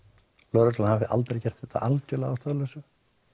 lögreglan hafi ekki gert þetta algjörlega að ástæðulausu